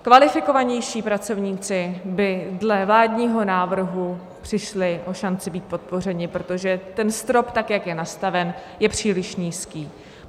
Kvalifikovanější pracovníci by dle vládního návrhu přišli o šanci být podpořeni, protože ten strop, tak jak je nastaven, je příliš nízký.